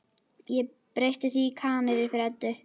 Ég breytti því í Kanarí fyrir Eddu.